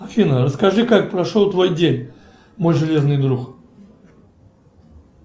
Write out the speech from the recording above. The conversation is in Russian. афина расскажи как прошел твой день мой железный друг